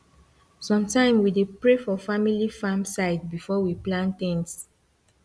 sometime we dey pray for family farm side before we plant things